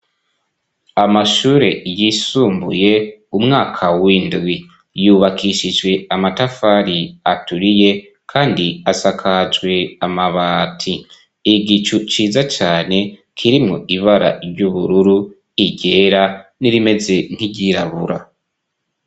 Amashure yisumbuye umwaka w'indwi yubakishijwe amatafari aturiye kandi asakajwe amabati igicu ciza cane kirimwo ibara ry'ubururu iryera n'irimeze nk'iryirabura.